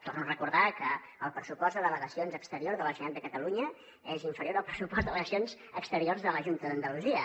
torno a recordar que el pressupost de delegacions exteriors de la generalitat de catalunya és inferior al pressupost de delegacions exteriors de la junta d’andalusia